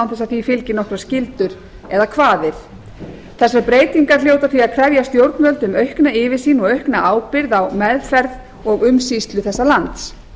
að því fylgi nokkrar skyldur eða kvaðir þessar breytingar hljóta því að krefja stjórnvöld um aukna yfirsýn og aukna ábyrgð á meðferð og umsýslu þessa lands